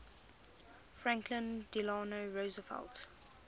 franklin delano roosevelt